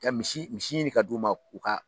Kɛ misi misi ɲini ka d'u ma k'u ka